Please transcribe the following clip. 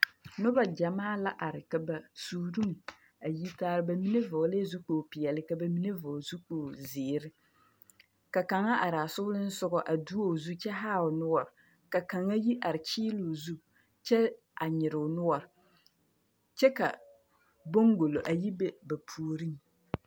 Noba gyamaa la are ka ba suuruŋ a yi taar ba mine vɔglɛɛ zukpogli peɛl ka ba mine vɔgle zukpogli zeer. Ka kaŋa araa soleŋsogɔ duo o zu kyɛ haa o noɔr ka kaŋa yi are kyeeloo zu kyɛ a nyere o noɔr kyɛ ka boŋgolo a yi be ba puoriŋ.